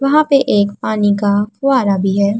वहाँ पर एक पानी का फुव्वारा भी है।